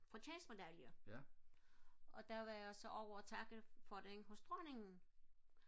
fortjeneste medalje og der var jeg så ovre og takke for det hos dronningen